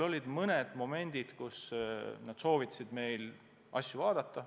Olid mõned momendid, mille puhul nad soovitasid meil asju paremini teha.